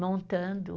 montando.